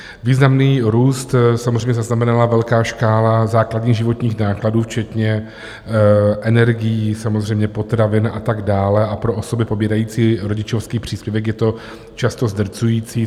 Významný růst samozřejmě zaznamenala velká škála základních životních nákladů včetně energií, samozřejmě potravin a tak dále a pro osoby pobírající rodičovský příspěvek je to často zdrcující.